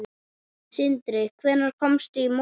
Sindri: Hvenær komstu í morgun?